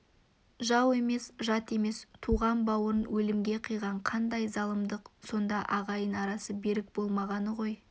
жау емес жат емес туған бауырын өлімге қиған қандай залымдық сонда ағайын арасы берік болмағаны ғой